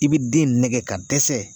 I bi den nɛgɛ ka dɛsɛ